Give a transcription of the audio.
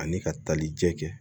Ani ka tali jɛ kɛ